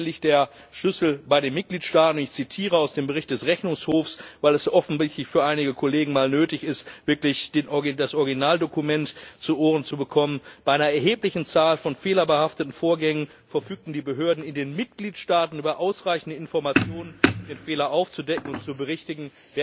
Hier liegt der Schlüssel bei den Mitgliedstaaten. Ich zitiere aus dem Bericht des Rechnungshofs, weil es offensichtlich für einige Kollegen mal nötig ist, wirklich das Originaldokument zu Ohren zu bekommen Bei einer erheblichen Zahl von fehlerbehafteten Vorgängen verfügten die Behörden in den Mitgliedstaaten über ausreichende Informationen, um den Fehler aufzudecken und zu berichtigen.